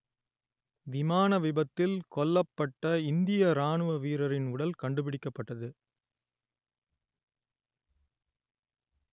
விமான விபத்தில் கொல்லப்பட்ட இந்திய இராணுவ வீரரின் உடல் கண்டுபிடிக்கப்பட்டது